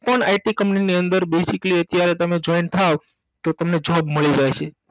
non it company ની અંદર basically અત્યારે તમે joint થાવ તો તમને job મળી જાય છે